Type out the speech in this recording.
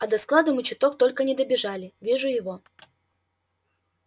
а до склада мы чуток только не добежали вижу его